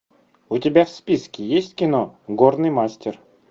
у тебя в списке есть кино горный мастер